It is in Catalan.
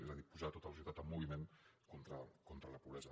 és a dir posar tota la societat en moviment contra la pobresa